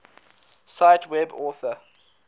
cite web author